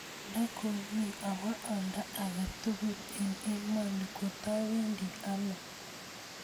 Indo komi awoo oldo agetugul en emoni katowendi anoo